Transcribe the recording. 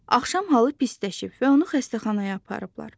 Axşam halı pisləşib və onu xəstəxanaya aparıblar.